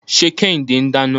Ṣé Kẹ́hìndé ń dáná?